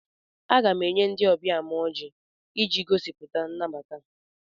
Aga m enye ndị ọbịa m ọjị iji gosipụta nnabata.